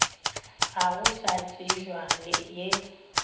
ga go sa tsebja ye